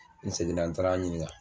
N seginna n taara ɲininka.